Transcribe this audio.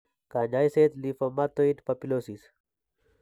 Kaany'ayseet lymphomatoid papulosis.